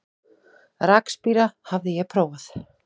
Rakspíra hafði ég prófað.